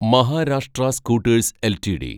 Maharashtra scooters LTD